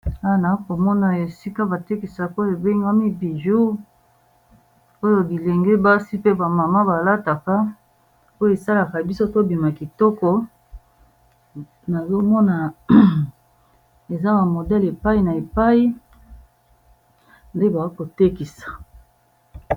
AWa nakomona esika batekisaka ebengami bijoux oyo bilenge basi pe ba mama balataka oyo esalaka biso tobima kitoko na lomona eza ba modèle epai na epai nde bazotekisa.